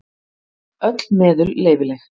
Öll meðul leyfileg.